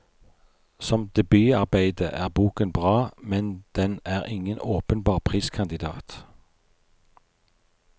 Som debutarbeide er boken bra, men den er ingen åpenbar priskandiat.